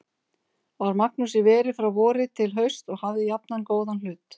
Var Magnús í veri frá vori til hausts og hafði jafnan góðan hlut.